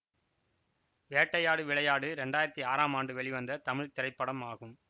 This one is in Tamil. வேட்டையாடு விளையாடு இரண்டாயிரத்தி ஆறாம் ஆண்டு வெளிவந்த தமிழ் திரைப்படம் ஆகும்